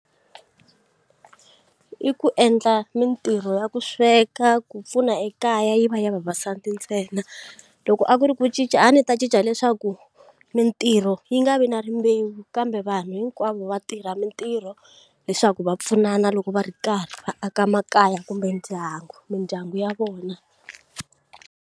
I ku endla mintirho ya ku sweka ku pfuna ekaya yi va ya vavasati ntsena loko a ku ri ku cinca a ndzi ta cinca leswaku mintirho yi nga vi na rimbewu kambe vanhu hinkwavo va tirha mintirho leswaku va pfunana loko va ri karhi va aka makaya kumbe ndyangu mindyangu ya vona.